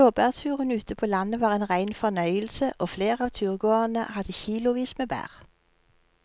Blåbærturen ute på landet var en rein fornøyelse og flere av turgåerene hadde kilosvis med bær.